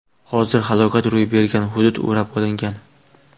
Hozirda falokat ro‘y bergan hudud o‘rab olingan.